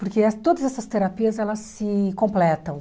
Porque todas essas terapias, elas se completam.